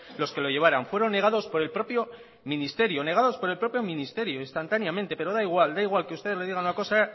los que lo llevaran fueron negados por el propio ministerio instantáneamente pero da igual que usted le diga una cosa